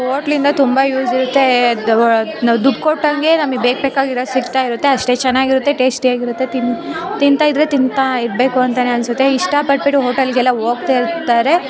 Hotel ಇಂದ ತುಂಬಾ use ಇರುತ್ತೆ ನಾವು ದುಡ್ಡ್ ಕೊಟ್ಟಂಗೆ ನಮಿಗೆ ಬೇಕ್ ಬೇಕಾಗಿರೋದು ಸಿಕ್ತಾ ಇರುತ್ತೆ ಅಷ್ಟೇ ಚೆನ್ನಾಗ್ ಇರುತ್ತೆ ಟೇಸ್ಟಿ ಆಗ್ ಇರುತ್ತೆ ತಿಂತ ಇದ್ರೆ ತಿಂತಾನೆ ಇರ್ಬೇಕು ಅಂತಾನೆ ಅನ್ಸುತ್ತೆ ಇಷ್ಟ ಪಟ್ಬಿಟ್ಟು ಹೋಟೆಲ್ಗೆಲ್ಲಾ ಹೋಗ್ತಾ ಇರ್ತಾರೆ .